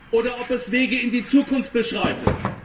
oder ob es Wege in die Zukunft beschreitet?